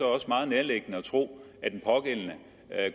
også meget nærliggende at tro at den pågældende